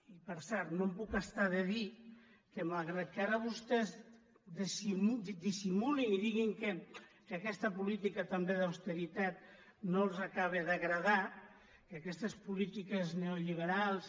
i per cert no em puc estar de dir que malgrat que ara vostès dissimulin i diguin que aquesta política tam·bé d’austeritat no els acaba d’agradar que aquestes polítiques neoliberals